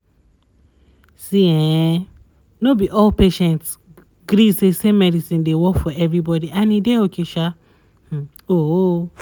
see ehnno be all patients gree say same medicine dey work for everybody and e dey okay sha um oo